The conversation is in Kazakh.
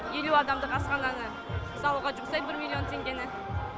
елу адамдық асхананы салуға жұмсаймын бір миллион теңгені